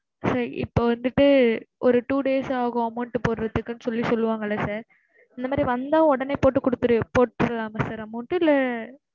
sir இப்போ வந்துட்டு, ஒரு two days ஆகும் amount போடுறதுக்குன்னு சொல்லி சொல்லுவாங்கள sir அந்த மாதிரி வந்தா உடனே போட்டு குடுத்திடு போட்டுடலாமா sir amount டு இல்ல